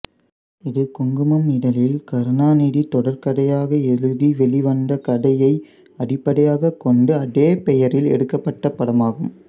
இது குங்குமம் இதழில் கருணாநிதி தொடர்கதையாக எழுதி வெளிவந்த கதையை அடிப்படையாக கொண்டு அதே பெயரில் எடுக்கபட்ட படமாகும்